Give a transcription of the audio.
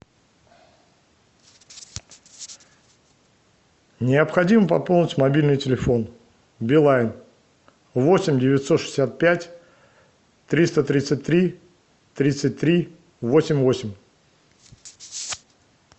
необходимо пополнить мобильный телефон билайн восемь девятьсот шестьдесят пять триста тридцать три тридцать три восемь восемь